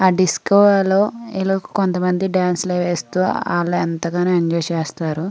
ఆ డిస్కో లో ఇలా కొంతమంది డాన్స్ లు అవి వేస్తూ ఆల్లు ఎంతగానో ఎంజాయ్ చేస్తారు.